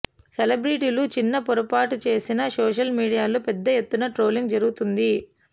సెలెబ్రిటీలు చిన్న పొరపాటు చేసినా సోషల్ మీడియాలో పెద్ద ఎత్తున ట్రోలింగ్ జరుగుతోంది